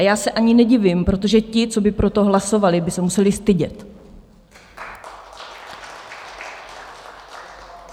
A já se ani nedivím, protože ti, co by pro to hlasovali, by se museli stydět!